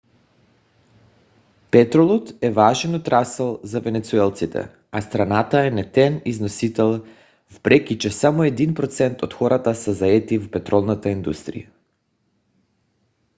петролът е важен отрасъл за венецуелците а страната е нетен износител въпреки че само един процент от хората са заети в петролната индустрия